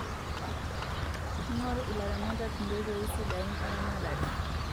Kingoru ilaramatak nkotoii sidain eramatare